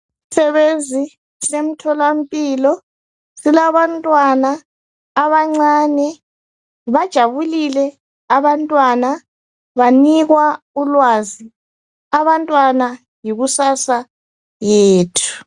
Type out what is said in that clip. Isisebenzi semtholampilo silabantwana abancane bajabulile abantwana banikwa ulwazi abantwana yikusasa yethu.